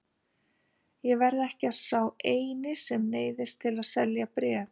Ég er ekki sá eini sem neyðist til að selja bréf.